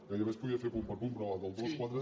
gairebé es podria fer punt per punt però del dos quatre